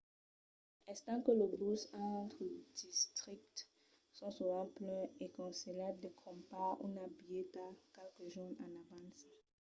estant que los buses entre districtes son sovent plens es conselhat de crompar una bilheta qualques jorns en avança